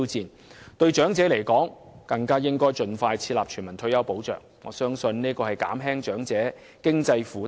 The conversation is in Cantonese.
此外，就長者而言，政府更應盡快設立全民退休保障制度，我相信這樣才能有效減輕長者的經濟負擔。